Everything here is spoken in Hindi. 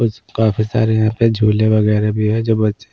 कुछ काफी सारे यहाँ पे झूले वगैरह भी हैं जो बच्चे--